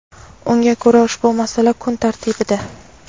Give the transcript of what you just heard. Unga ko‘ra, ushbu masala kun tartibida.